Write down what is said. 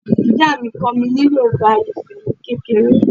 Ìyá mi kọ́ mi ní Yorùbá Ifẹ̀ ni kékeré